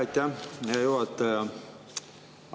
Aitäh, hea juhataja!